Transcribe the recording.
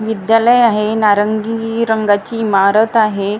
विद्यालय आहे. नारंगी रंगाची इमारत आहे.